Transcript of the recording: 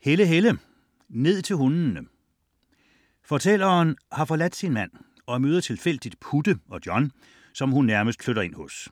Helle, Helle: Ned til hundene Fortælleren har forladt sin mand og møder tilfældigt Putte og John, som hun nærmest flytter ind hos.